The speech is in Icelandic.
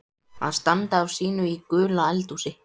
Að standa á sínu í gulu eldhúsi